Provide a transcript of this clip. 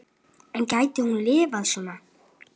En gæti hún lifað svona?